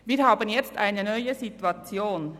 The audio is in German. Wir haben jetzt eine neue Situation: